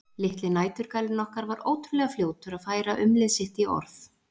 Litli næturgalinn okkar var ótrúlega fljótur að færa umlið sitt í orð.